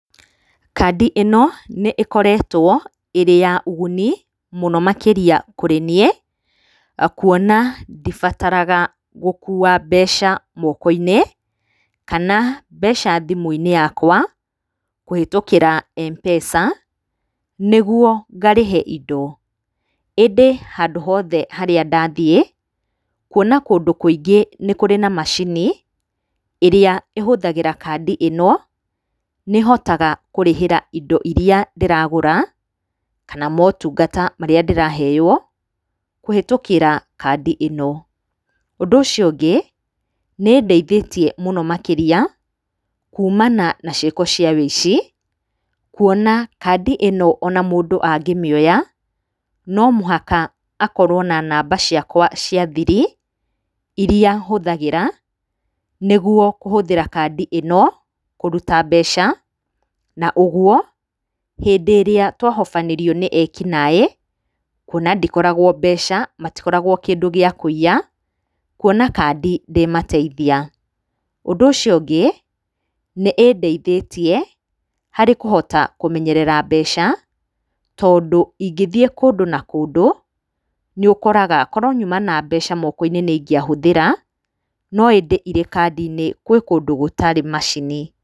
Kandi ĩno, nĩ ĩkoretwo, ĩrĩ ya ũguni, mũno makĩria kũrĩ niĩ, kuona ndibataraga gũkua mbeca moko-inĩ, kana mbeca thimũ-inĩ yakwa, kũhĩtũkĩra M-Pesa, nĩguo ngarĩhe indo, ĩndĩ handũ hothe harĩa ndathiĩ, kuona kũndũ kũingĩ nĩ kũrĩ na macini, ĩrĩa ĩhũthagĩra kandi ĩno, nĩhotaga kũrĩhĩra indo iria ndĩragũra, kana motungata marĩa ndĩraheo, kũhĩtũkĩra kandi ĩno. Ũndũ ũcio ũngĩ, nĩ ĩndeithĩtie mũno makĩria kumana na ciĩko cia ũici, kuona kandi ĩno ona mũndũ angĩmĩoya, no mũhaka akorwo na namba ciakwa cia thiri, iria hũthagĩra, nĩguo kũhũthĩra kandi ĩno, kũruta mbeca, na ũguo, hĩndĩ ĩrĩa twahobanĩrio nĩ ekinaĩ, kuona ndikoragwo mbeca, matikoragwo kĩndũ gĩa kũiya, kuona kandi ndĩmateithia, ũndũ ũcio ũngĩ, nĩ ĩndeithĩtie harĩ kũhota kũmenyerera mbeca, tondũ ingĩthiĩ kũndũ na kũndũ, nĩ ũkoraga korwo nyuma na mbeca moko-inĩ nĩ ingĩahũthĩra, no ĩndĩ irĩ kandi-inĩ kwĩ kũndũ gũtarĩ macini.